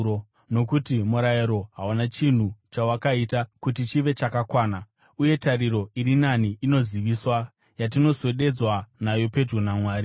(nokuti murayiro hauna chinhu chawakaita kuti chive chakakwana), uye tariro iri nani inoziviswa, yatinoswededzwa nayo pedyo naMwari.